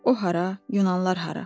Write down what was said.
O hara, yunanlılar hara.